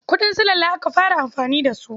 Kuɗin sulalla aka fara amfani da su.